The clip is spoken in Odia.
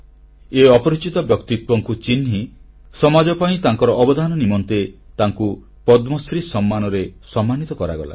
ଏହି ଅପରିଚିତ ବ୍ୟକ୍ତିତ୍ୱଙ୍କୁ ଚିହ୍ନି ସମାଜ ପାଇଁ ତାଙ୍କର ଅବଦାନ ନିମନ୍ତେ ତାଙ୍କୁ ପଦ୍ମଶ୍ରୀ ସମ୍ମାନରେ ସମ୍ମାନିତ କରାଗଲା